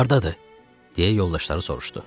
Hardadır, deyə yoldaşları soruşdu.